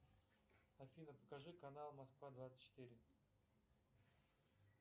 афина покажи канал москва двадцать четыре